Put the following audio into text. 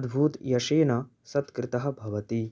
अद्भुतयशेन सत्कृतः भवति